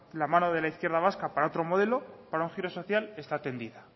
la mano de la izquierda vasca para otro modelo para un giro social está tendida